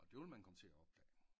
Og det vil man komme til at opdage